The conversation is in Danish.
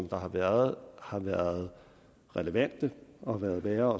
der har været har været relevante og været værd